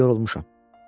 İndi yorulmuşam.